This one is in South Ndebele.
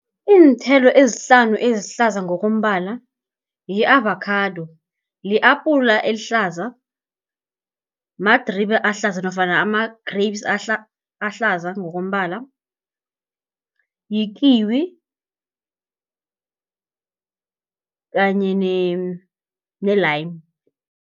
Iinthelo ezihlanu ezihlaza ngokombala, yi-avakhado, li-apula elihlaza, madribe ahlaza nofana ama-grapes ahlaza ngokombala, yi-kiwi kanye ne-lime.